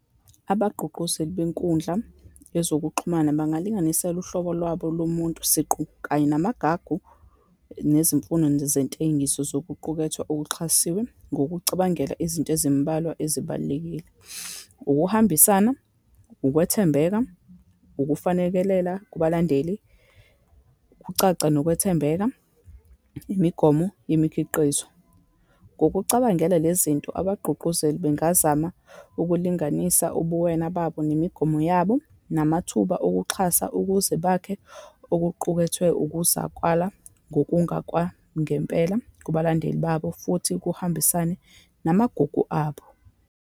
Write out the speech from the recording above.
Abagqugquzeli benkundla yezokuxhumana bangalinganisela uhlobo lwabo lomuntu siqu, kanye namagagu, nezimfuno nje zentengiso zokuqukethwe okuxhasiwe, ngokucabangela izinto ezimbalwa ezibalulekile. Ukuhambisana, ukwethembeka, ukufanekelela kubalandeli, ukucaca, nokwethembeka, imigomo yemikhiqizo. Ngokucabangela le zinto abagqugquzeli bengazama ukulinganisa ubuwena babo, nemigomo yabo, namathuba okuxhasa, ukuze bakhe okuqukethwe ukuzakwala ngokungakwangempela kubalandeli babo, futhi kuhambisane namagugu abo.